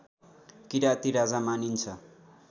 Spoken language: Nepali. किराती राजा मानिन्छ